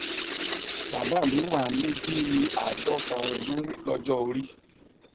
bàbá mi wà ní bí i àádọta ọdún lọjọ orí